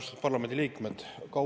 Austatud parlamendiliikmed!